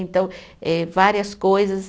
Então, eh várias coisas.